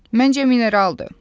Məncə mineraldır.